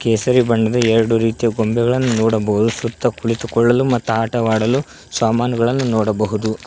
ಕೇಸರಿ ಬಣ್ಣ ಎರಡು ರೀತಿಯ ಗೊಂಬೆಗಳನ್ನು ನೋಡಬಹುದು ಸುತ್ತ ಕುಳಿತುಕೊಳ್ಳಲು ಮತ್ತು ಆಟವಾಡಲು ಸಾಮಾನುಗಳು ನೋಡಬಹುದು.